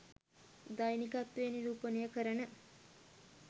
දෛනිකත්වය නිරූපණය කරන